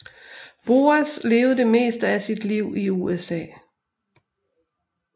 Boas levede det meste af sit liv i USA